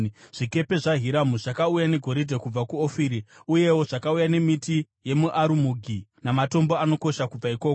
Zvikepe zvaHiramu zvakauya negoridhe kubva kuOfiri; uyewo zvakauya nemiti yemiarumugi namatombo anokosha kubva ikoko.